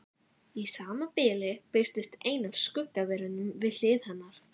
Í sama bili birtist ein af skuggaverunum við hlið hennar.